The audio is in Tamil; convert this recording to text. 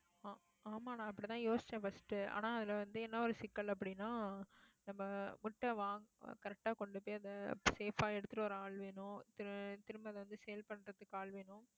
ஆஹ் ஆமா, நான் அப்படித்தான் யோசிச்சேன் first ஆனா அதுல வந்து, என்ன ஒரு சிக்கல் அப்படின்னா, நம்ம முட்டை வாங்க correct ஆ கொண்டு போய், அதை safe ஆ எடுத்துட்டு வர ஆள் வேணும். திரும்ப~ திரும்ப அதை வந்து, sale பண்றதுக்கு ஆள் வேணும்